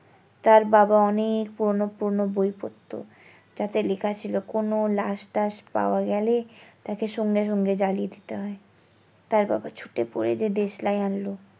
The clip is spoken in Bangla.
তার বাবা অনেক পুরোনো পুরোনো বই পড়তো তাতে লেখা ছিল কোনো লাস তাস পাওয়া গেলে তাকে সঙ্গে সঙ্গে জ্বালিয়ে দিতে হয় তার বাবা ছুটে পড়ে গিয়ে দেশলাই আনলো।